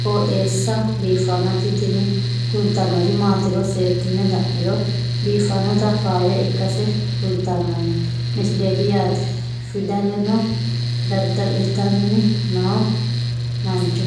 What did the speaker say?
qooxeessa biiffannoti tini kultannori maatiro seekkine la'niro biiffannota faayya ikkase kultannoke misileeti yaate fdadalo dada'litanni no mancho